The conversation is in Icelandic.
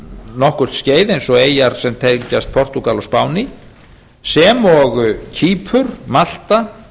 nokkurt skeið eins og eyjar sem tengjast portúgal og spáni sem og kýpur malta